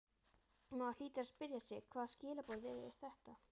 Og maður hlýtur að spyrja sig hvaða skilaboð eru þetta?